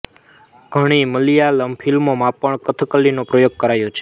ઘણી મલયાલમ ફીલ્મો માં પણ કથકલી નો પ્રયોગ કરાયો છે